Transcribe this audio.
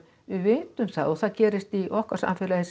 við vitum það og það gerist í okkar samfélagi eins